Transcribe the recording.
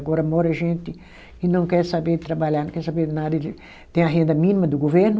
Agora mora gente que não quer saber trabalhar, não quer saber nada de, tem a renda mínima do governo,